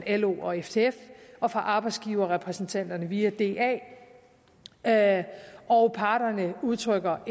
lo og ftf og fra arbejdsgiverrepræsentanterne via da da og parterne udtrykker